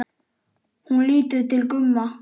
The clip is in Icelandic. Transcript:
Hún lítur til Gumma.